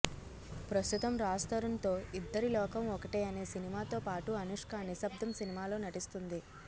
ప్రస్తుతం రాజ్ తరుణ్ తో ఇద్దరిలోకం ఒకటే అనే సినిమాతో పాటు అనుష్క నిశ్శబ్దం సినిమాలో నటిస్తుంది